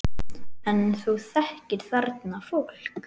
En þú þekkir þarna fólk?